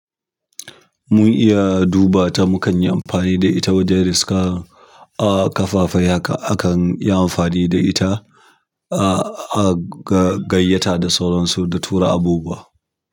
Mun iya duba ta mukanyi amfani da ita wajen riskan ahh, kafafen. Haka akan yi amfani da ita a gayyata da sauransu da tura abubuwa.